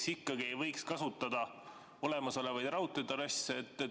Miks ikkagi ei võiks kasutada olemasolevaid raudteetrasse?